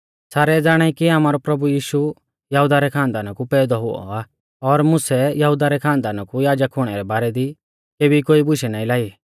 सारै ज़ाणाई कि आमारौ प्रभु यीशु यहुदा रै खानदाना कु पैदौ हुऔ आ और मुसै यहुदा रै खानदाना कु याजक हुणै रै बारै दी केबी कोई बुशै नाईं लाई